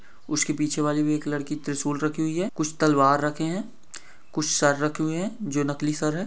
उसके पिछे वाली भी एक लड़की त्रिशूल रखी हुई है कुछ तलवार रखे है कुछ सर रखी हुई है जो नकली सर है।